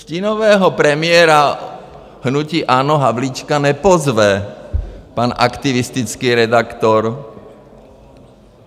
Stínového premiéra hnutí ANO Havlíčka nepozve pan aktivistický redaktor.